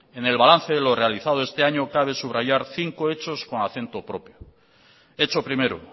en el balance de lo realizado este año cabe subrayar cinco hechos con acento propio hecho primero